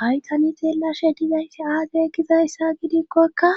haytanixeellashe dizayssi aadekizayssa gidikkoka